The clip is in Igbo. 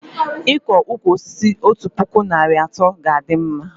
Iko ụkwụ osisi otu puku narị na atọ ga a dị mma